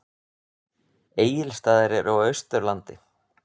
Egilsstaðir eru á Austurlandi.